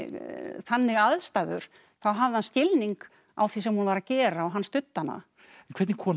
þannig aðstæður þá hafði hann skilning á því sem hún var að gera og hann studdi hana en hvernig kona